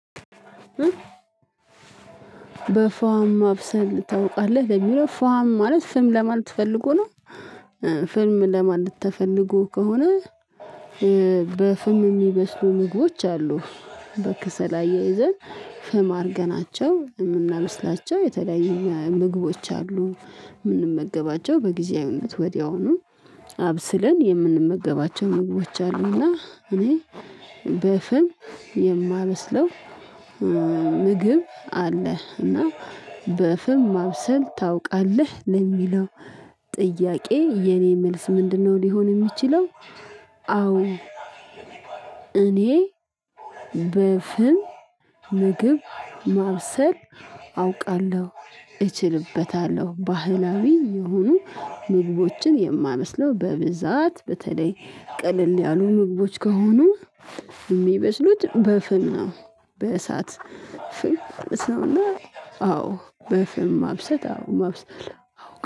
በፋም ማብሰል ታውቃለህ ለሚለው ፋም ማለት ፍም ለማለት ፈልጎ ነው። ፍም ለማለት ተፈልጎ ከሆነ። በፍም የሚበስሉ ምግቦች አሉ። በክሰል አያይዘን ፍም አድርገናቸው የምናበስላቸው የተለያየ ምግቦች አሉ። የምንመገባቸው በጊዜያዊነት ወዲያውኑ አብስለን የምንመገባቸው ምግቦች አሉና። እኔ በፍል የማመስለው ምግብ አለህ እና በፍም ማብሰል ታውቃለህ ለሚለው ጥያቄ የኔ መልስ ምንድነው ሊሆን የሚችለው? አዎ እኔ በፍም ምግብ ማብሰል አውቃለሁ እችልበታለሁ። ባህላዊ የሆኑ ምግቦችን የማበስለው በብዛት በተለይ ቅልል ያሉ ምግቦች ከሆኑ የሚበስሉት በፍም ነው። በእሳት ፍም እስውና አዎ በፍም ማብሰት አዎ ማብሰል።